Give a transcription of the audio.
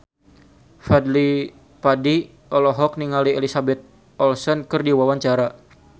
Fadly Padi olohok ningali Elizabeth Olsen keur diwawancara